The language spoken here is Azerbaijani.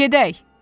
Gedək.